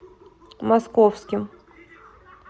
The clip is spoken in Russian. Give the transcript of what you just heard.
московским